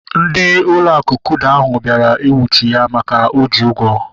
Ndị ụlọ akụ kuda ahụ bịara nwuchie ya maka na oji ụgwọ